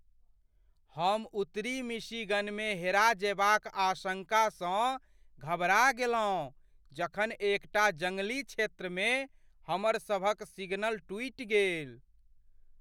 हम उत्तरी मिशिगनमे हेरा जयबाक आशङ्कासँ घबरा गेलहुँ जखन एकटा जंगली क्षेत्रमे हमरसभक सिग्नल टूटि गेल।